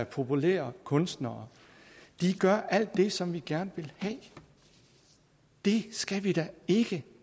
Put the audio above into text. populære kunstnere de gør alt det som vi gerne vil have det skal vi da ikke